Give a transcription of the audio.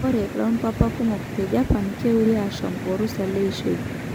Ore lompapa kumok te Japan keure ashom orusa leishoi.